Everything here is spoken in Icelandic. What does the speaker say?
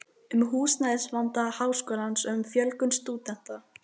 um húsnæðisvanda Háskólans og um fjölgun stúdenta.